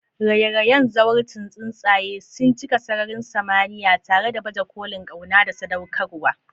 raye-rayen zawarcin tsuntsaye sun cika sararin samaniya tare da baje kolin kauna da sadaukarwa.